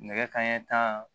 Nɛgɛ kanɲɛ tan